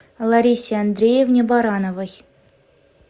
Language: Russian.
ларисе андреевне барановой